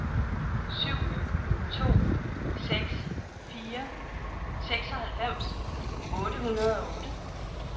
syv to seks fire seksoghalvfems otte hundrede og otte